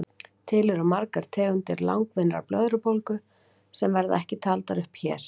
Til eru margar tegundir langvinnrar blöðrubólgu sem verða ekki taldar upp hér.